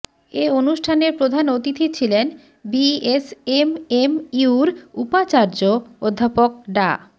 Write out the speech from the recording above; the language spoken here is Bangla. এ অনুষ্ঠানে প্রধান অতিথি ছিলেন বিএসএমএমইউর উপাচার্য অধ্যাপক ডা